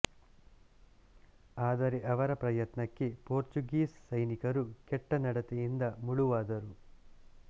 ಆದರೆ ಅವರ ಪ್ರಯತ್ನಕ್ಕೆ ಪೋರ್ಚುಗೀಸ್ ಸೈನಿಕರು ಕೆಟ್ಟ ನಡತೆಯಿಂದ ಮುಳುವಾದರು